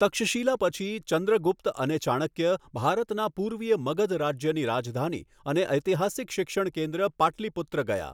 તક્ષશિલા પછી, ચંદ્રગુપ્ત અને ચાણક્ય ભારતના પૂર્વીય મગધ રાજ્યની રાજધાની અને ઐતિહાસિક શિક્ષણ કેન્દ્ર પાટલિપુત્ર ગયા.